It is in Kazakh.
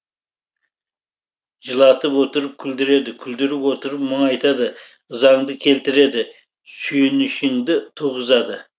жылатып отырып күлдіреді күлдіріп отырып мұңайтады ызаңды келтіреді сүйінішіңді туғызады